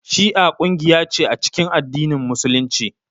Shi'a kungiya ce a cikin addinin musulunci